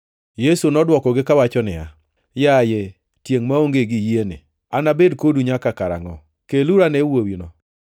Yesu nodwokogi kawacho niya, “Yaye, tiengʼ maonge gi yie ni, anabed kodu nyaka karangʼo? Keluru ane wuowino.”